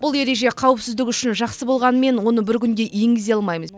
бұл ереже қауіпсіздік үшін жақсы болғанымен оны бір күнде енгізе алмаймыз